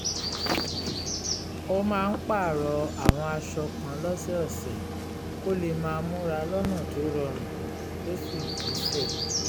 ó máa ń pààrọ̀ àwọn aṣọ kan lọ́sọ̀ọ̀sẹ̀ kó lè máa múra lọ́nà tó rọrùn tó sì gbéṣẹ́